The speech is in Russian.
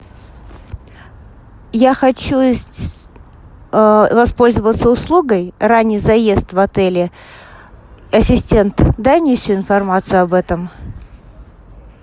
я хочу воспользоваться услугой ранний заезд в отеле ассистент дай мне всю информацию об этом